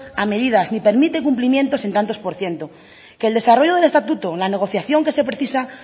a medidas ni permite cumplimientos en tantos por ciento que el desarrollo del estatuto la negociación que se precisa